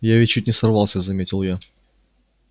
я ведь чуть не сорвался заметил я